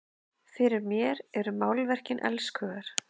Fyrir mér eru málverkin elskhugar!